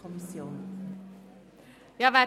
Kommissionssprecherin